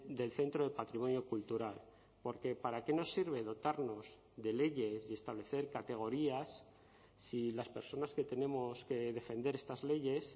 del centro de patrimonio cultural porque para qué nos sirve dotarnos de leyes y establecer categorías si las personas que tenemos que defender estas leyes